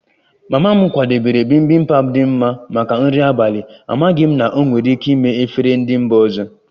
Mama m kwadebere bibimpap dị mma maka nri abalị, amaghị m na ọ nwere ike ime efere ndị mba ọzọ